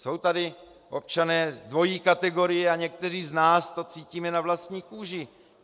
Jsou tady občané dvojí kategorie a někteří z nás to cítíme na vlastní kůži.